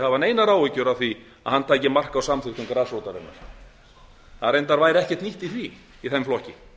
hafa neinar áhyggjur af því að hann tæki mark á samþykktum grasrótarinnar á væri reyndar ekkert nýtt í því í þeim flokki